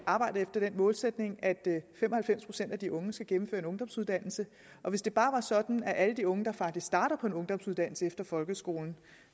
arbejde efter den målsætning at fem og halvfems procent af de unge skal gennemføre en ungdomsuddannelse hvis det bare var sådan at alle de unge der faktisk startede på en ungdomsuddannelse efter folkeskolen